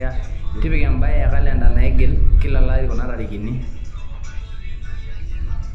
tipika embae e kalenda naigili kila olari kuna tarikini